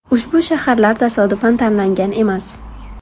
Ushbu shaharlar tasodifan tanlangan emas.